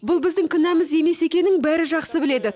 бұл біздің кінәміз емес екенін бәрі жақсы біледі